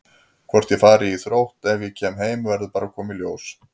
Hvort ég fari í Þrótt ef ég kem heim verður bara að koma í ljós.